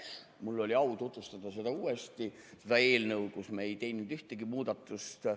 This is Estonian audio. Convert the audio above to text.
Mul oli au tutvustada uuesti seda eelnõu, millesse me ei teinud ühtegi muudatust.